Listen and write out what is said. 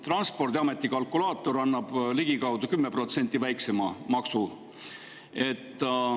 Transpordiameti kalkulaator annab ligikaudu 10% väiksema maksu.